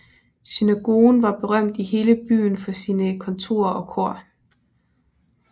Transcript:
Synagogen var berømt i hele byen for sine kantorer og kor